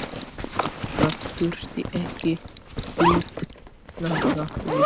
Það þurfti ekki vitnanna við.